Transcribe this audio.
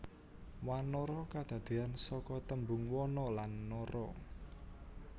Wanara kadadeyan saka tembung wana lan nara